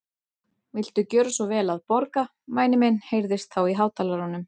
Viltu gjöra svo vel að borga, væni minn heyrðist þá í hátalaranum.